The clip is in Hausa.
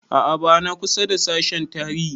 A'a ba na kusa da sashen tarihi